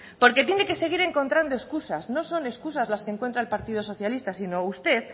porque tiene que seguir encontrando escusas no son escusas las que encuentra el partido socialista sino usted